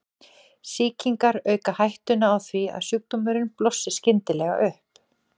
sýkingar auka hættuna á því að sjúkdómurinn blossi skyndilega upp